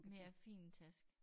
Mere fin taske